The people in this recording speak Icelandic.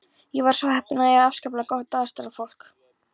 Ég var svo heppin að eiga afskaplega gott aðstoðarfólk.